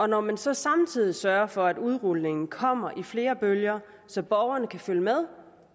når man så samtidig sørger for at udrulningen kommer i flere bølger så borgerne kan følge med